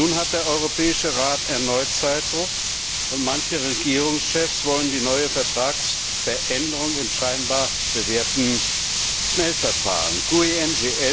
Nun ist der Europäische Rat erneut unter Zeitdruck, und manche Regierungschefs wollen die neue Vertragsveränderung im scheinbar bewährten Schnellverfahren bewerkstelligen.